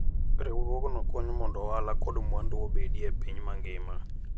Riwruogno konyo mondo ohala kod mwandu obedie e piny mangima.